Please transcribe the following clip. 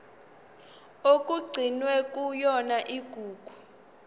okugcinwe kuyona igugu